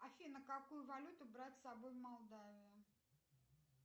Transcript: афина какую валюту брать с собой в молдавию